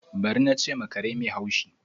Bari! na che ma kare mai hashi.